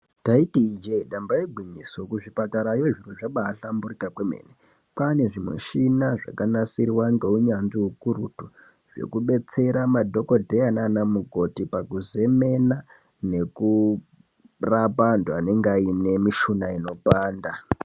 Taiti ijee damba igwinyiso, kuzvipatarayo zviro zvabaa hlamburika kwemene, kwaane zvimushina zvakanasirwa ngeunyanzvi ukurutu zvekubetsera madhokodheya nana mukokhoti pakuzemena nekurapa antu anenge aine mishuna inopanda.